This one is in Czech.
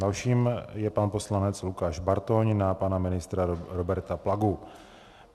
Dalším je pan poslanec Lukáš Bartoň na pana ministra Roberta Plagu.